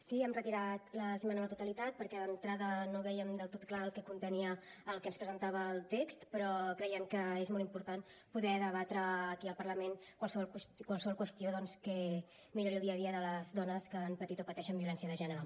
sí hem retirat l’esmena a la totalitat perquè d’entrada no vèiem del tot clar el que contenia el que ens presentava el text però creiem que és molt important poder debatre aquí al parlament qualsevol qüestió doncs que millori el dia a dia de les dones que han patit o pateixen violència de gènere